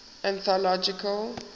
anthological